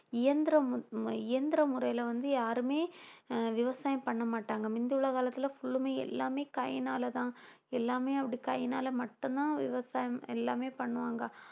இயந்திரம் இயந்திர முறையில வந்து யாருமே ஆஹ் விவசாயம் பண்ண மாட்டாங்க முந்தியுள்ள காலத்தில full லுமே எல்லாமே கையினாலதான் எல்லாமே அப்படி கையினால மட்டும்தான் விவசாயம் எல்லாமே பண்ணுவாங்க